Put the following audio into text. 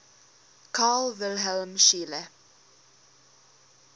carl wilhelm scheele